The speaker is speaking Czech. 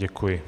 Děkuji.